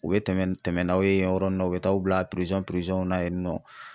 U be tɛmɛ ni tɛmɛ n'aw ye yɔrɔ ni na u be t' aw bila pirizɔn pirizɔnw na yen nɔ